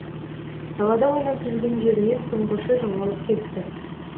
далада ойнап жүрген жерінен тұңғышы жоғалып кетті